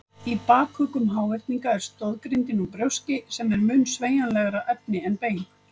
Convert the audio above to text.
Í bakuggum háhyrninga er stoðgrindin úr brjóski sem er mun sveigjanlegra efni en bein.